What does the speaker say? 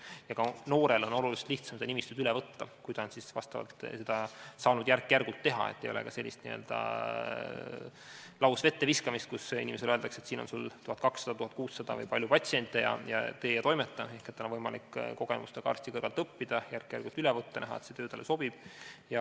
Ja ka noorel on oluliselt lihtsam seda nimistut üle võtta, kui ta on saanud seda teha järk-järgult, nii et ka temal ei ole sellist n-ö lausvetteviskamist, kus inimesele öeldakse, et siin on sul 1200–1600 või nii palju patsiente, tee ja toimeta, vaid tal on võimalik kogemustega arsti kõrvalt õppida, järk-järgult töö üle võtta ja näha, kas see talle sobib.